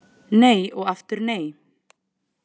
Nei og aftur nei